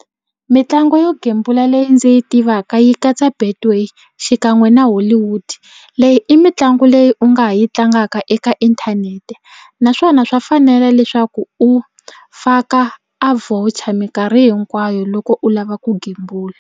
Mitlangu yo gembula leyi ndzi yi tivaka yi katsa Betway xikan'we na Hollywood leyi i mitlangu leyi u nga ha yi tlangaka eka inthanete naswona swa fanela leswaku u faka a voucher minkarhi hinkwayo loko u lava ku gembula.